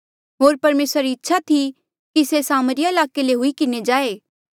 होर परमेसरा री इच्छा थी कि से सामरिया ईलाके ले हुई किन्हें जाए